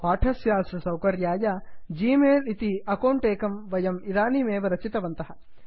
पाठस्यास्य सौकर्याय g mail Gmail इति अकौण्ट् एकं वयमिदानीमेव रचितवन्तः